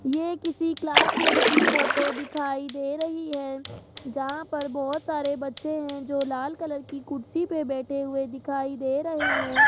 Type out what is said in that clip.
ये किसी class room की फोटो दिखाई दे रही है जहां पर बहोत सारे बच्चे हैं जो लाल कलर की कुर्सी पर बैठे हुए दिखाई दे रहे हैं --